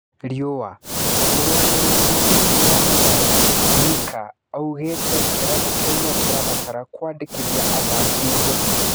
(Riũa) Mũrũgamĩ rĩ ri munini wa Mathare Mika aũgĩ te kĩ rabu kĩ u no kĩ rabatara kwandĩ kithia athaki ngũthi.